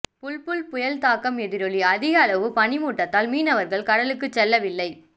புல்புல் புயல் தாக்கம் எதிரொலி அதிகளவு பனிமூட்டத்தால் மீனவர்கள் கடலுக்கு செல்லவில்லை